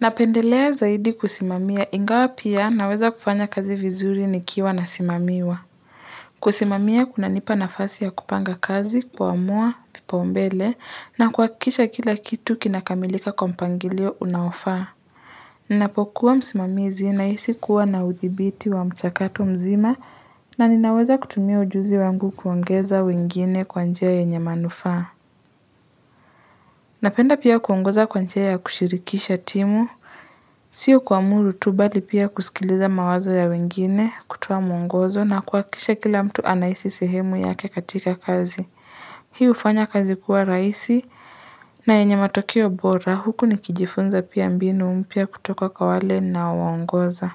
Napendelea zaidi kusimamia, ingawa pia naweza kufanya kazi vizuri nikiwa nasimamiwa kusimamia kunanipa nafasi ya kupanga kazi, kuamua kipaumbele, na kuhakikisha kila kitu kinakamilika kwa mpangilio unaofaa Ninapokuwa msimamizi, nahisi kuwa na udhibiti wa mchakato mzima na ninaweza kutumia ujuzi wangu kuongeza wengine kwa njia yenye manufaa Napenda pia kuongoza kwa njia ya kushirikisha timu Sio kuamuru tu, mbali pia kusikiliza mawazo ya wengine, kutoa mwongozo na kuhakisha kila mtu anahisi sehemu yake katika kazi. Hii hufanya kazi kuwa rahisi na yenye matokeo bora, huku nikijifunza pia mbinu mpya kutoka kwa wale ninaowaongoza.